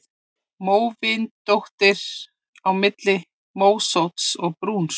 Móvindóttur: Á milli mósótts og brúns.